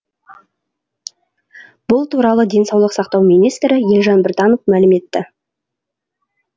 бұл туралы денсаулық сақтау министрі елжан біртанов мәлім етті